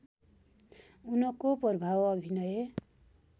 उनको प्रभाव अभिनय